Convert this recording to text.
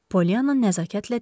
Polianna nəzakətlə dedi: